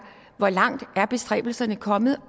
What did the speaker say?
hvor langt er bestræbelserne kommet